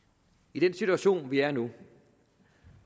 i den situation vi er i nu